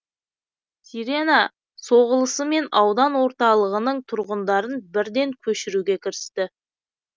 сирена соғылысымен аудан орталығының тұрғындарын бірден көшіруге кірісті